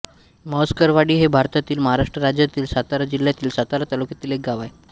म्हसकरवाडी हे भारतातील महाराष्ट्र राज्यातील सातारा जिल्ह्यातील सातारा तालुक्यातील एक गाव आहे